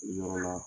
Yɔrɔ la